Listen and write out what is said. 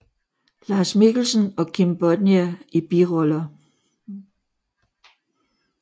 Lars Mikkelsen og Kim Bodnia i biroller